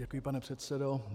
Děkuji, pane předsedo.